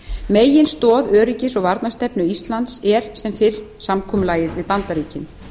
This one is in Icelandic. meginstoð öryggis og varnarstefnu íslands er sem fyrr samkomulagið við bandaríkin